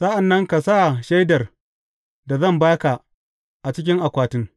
Sa’an nan ka sa Shaidar da zan ba ka, a cikin akwatin.